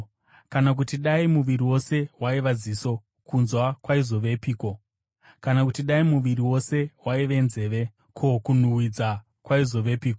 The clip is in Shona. Kana kuti dai muviri wose waiva ziso, kunzwa kwaizovepiko? Kana kuti dai muviri wose waive nzeve, ko, kunhuhwidza kwaizovepiko?